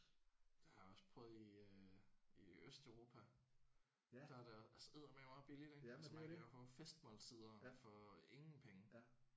Det har jeg også prøvet i øh i Østeuropa. Der er der eddermaneme også billigt ik?. Man kan jo få festmåltider for ingen penge